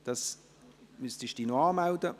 – Sie müssen sich noch anmelden.